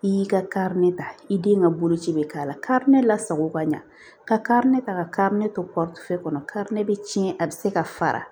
I y'i ka kari ne ta i den ka bolo ci be k'a la kari ne la sago ka ɲa ka ne to fɛ kɔnɔ kari bɛ tiɲɛ a bɛ se ka fara